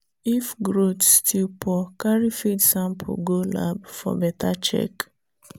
if growth still poor carry feed sample go lab for better check.